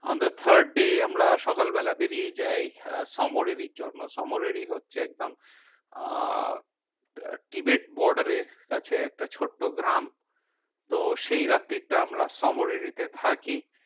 On the third day আমরা সকালবেলা বেরিয়ে যাই সোমরাররি জন্য। সোমরাররি হচ্ছে একদম আহ tibet border এর কাছে একটা ছোট্ট গ্রাম। তো সেই রাত্রি টা আমরা সোমরাররি তে থাকি।